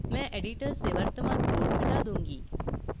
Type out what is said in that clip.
मैं editor से वर्तमान code मिटा दूँगी